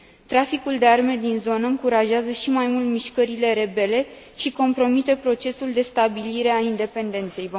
Traficul de arme din zonă încurajează și mai mult mișcările rebele și compromite procesul de stabilire a independenței.